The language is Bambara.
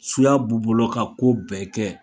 Suya b'u bolo ka ko bɛɛ kɛ